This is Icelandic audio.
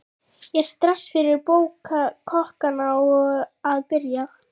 Er stress fyrir kokkana að byrja?